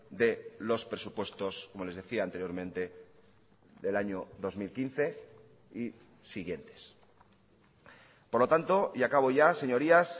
de los presupuestos como les decía anteriormente del año dos mil quince y siguientes por lo tanto y acabo ya señorías